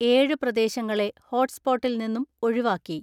ഏഴ് പ്രദേശങ്ങളെ ഹോട്ട് സ്പോട്ടിൽ നിന്നും ഒഴിവാക്കി.